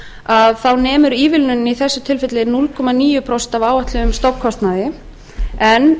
að þá nemur ívilnunin í þessu tilfelli núll komma níu prósent af áætluðum stofnkostnaði en